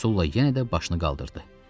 Sulla yenə də başını qaldırdı.